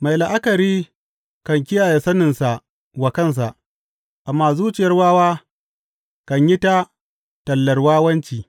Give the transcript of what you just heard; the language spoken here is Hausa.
Mai la’akari kan kiyaye saninsa wa kansa, amma zuciyar wawa kan yi ta tallar wawanci.